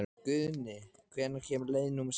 Guðni, hvenær kemur leið númer sextán?